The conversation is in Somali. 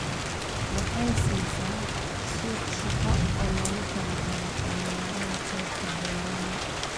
Waxay siisaa suuq shaqo oo loogu talagalay dhalinyarada qaybta beeraha.